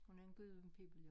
Hun er Gudhjem pibel jo